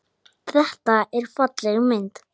Þetta er falleg mynd.